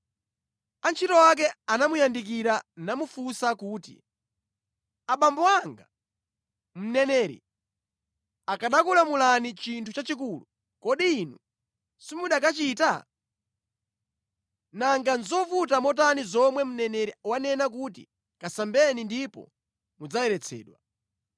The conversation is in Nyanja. Antchito ake anamuyandikira namufunsa kuti, “Abambo anga, mneneri akanakulamulani chinthu chachikulu, kodi inu simukanachita? Nanga nʼzovuta motani zomwe mneneri wanena kuti ‘Kasambeni ndipo mudzayeretsedwa!’ ”